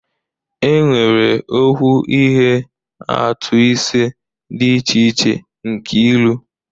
Enwere okwu ihe atụ ise dị iche iche: nke ilu